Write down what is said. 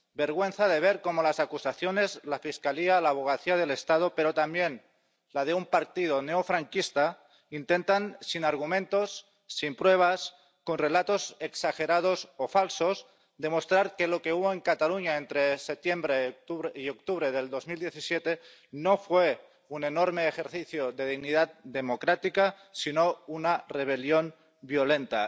Vergüenza de ver cómo las acusaciones —la Fiscalía, la Abogacía del Estado, pero también la de un partido neofranquista— intentan, sin argumentos, sin pruebas, con relatos exagerados o falsos, demostrar que lo que hubo en Cataluña entre septiembre y octubre de 2017 no fue un enorme ejercicio de dignidad democrática sino una rebelión violenta.